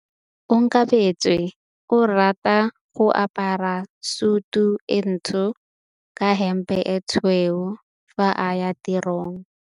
Onkabetse o rata go apara sutu e ntsho ka hempe e tshweu fa a ya tirong.